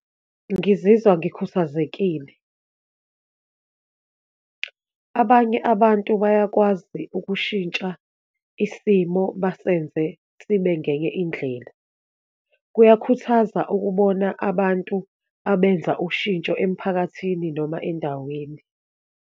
Ngizizwa ngikhuthazekile. Abanye abantu bayakwazi ukushintsha isimo basebenze sibe ngenye indlela. Kuyakhuthaza ukubona abantu abenza ushintsho emphakathini noma endaweni.